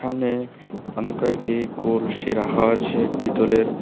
সামনে অনেক কয়টি কলসি রাখাও আছে পিতলের।